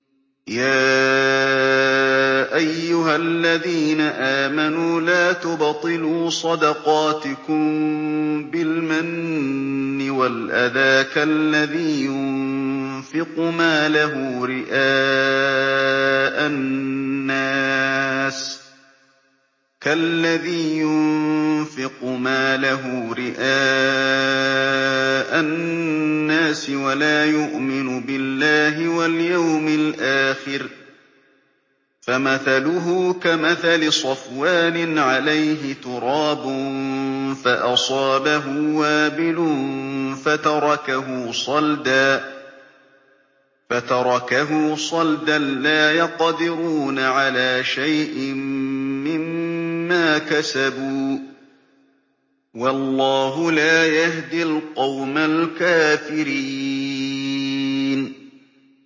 يَا أَيُّهَا الَّذِينَ آمَنُوا لَا تُبْطِلُوا صَدَقَاتِكُم بِالْمَنِّ وَالْأَذَىٰ كَالَّذِي يُنفِقُ مَالَهُ رِئَاءَ النَّاسِ وَلَا يُؤْمِنُ بِاللَّهِ وَالْيَوْمِ الْآخِرِ ۖ فَمَثَلُهُ كَمَثَلِ صَفْوَانٍ عَلَيْهِ تُرَابٌ فَأَصَابَهُ وَابِلٌ فَتَرَكَهُ صَلْدًا ۖ لَّا يَقْدِرُونَ عَلَىٰ شَيْءٍ مِّمَّا كَسَبُوا ۗ وَاللَّهُ لَا يَهْدِي الْقَوْمَ الْكَافِرِينَ